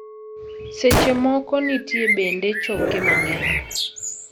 Seche moko, nitie bende choke mang'eny.